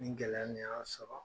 Ni gɛlɛya nin y'an sɔrɔ